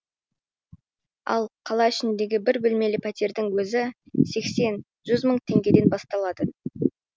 ал қала ішіндегі бір бөлмелі пәтердің өзі сексен жүз мың теңгеден басталады